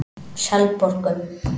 Selborgum